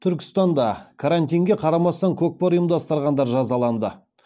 түркістанда карантинге қарамастан көкпар ұйымдастырғандар жазаланды